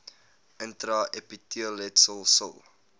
intra epiteelletsel sil